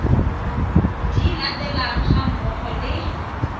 di latelang ga mmogo le